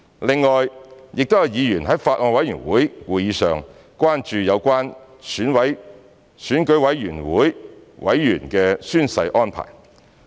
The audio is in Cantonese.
另外，亦有議員在法案委員會會議上關注有關選舉委員會委員的宣誓安排。